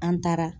An taara